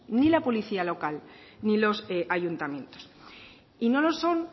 ni la policía local ni los ayuntamientos y no lo son